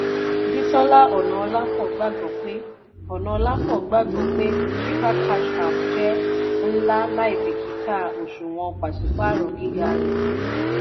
bísọ́lá ọ̀nàọlápọ̀ gbàgbọ́ pé ọ̀nàọlápọ̀ gbàgbọ́ pé chipper cash app jẹ nla láìbíkítà òṣùwọ̀n pàṣípáàrọ̀ gíga rẹ̀.